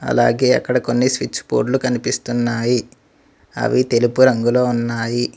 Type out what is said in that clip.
అలాగే అక్కడ కొన్ని స్విచ్ బోర్డులు కనిపిస్తున్నాయి అవి తెలుపు రంగులో ఉన్నాయి.